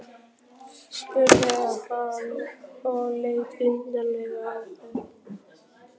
spurði hann og leit undarlega á þær.